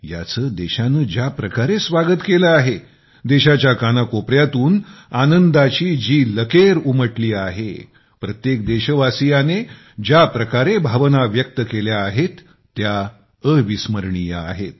याचे देशाने ज्या प्रकारे स्वागत केले आहेदेशाच्या कानाकोपऱ्यातून आनंदाची जी लकेर उमटली आहेप्रत्येक देशवासियाने ज्या प्रकारे भावना व्यक्त केल्या आहेत त्या अविस्मरणीय आहेत